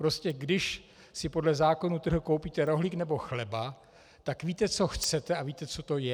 Prostě když si podle zákona trhu koupíte rohlík nebo chleba, tak víte, co chcete, a víte, co to je.